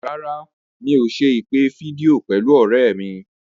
Rárá, mi ò ṣe ìpè fídíò pẹ̀lú ọ̀rẹ́ mi.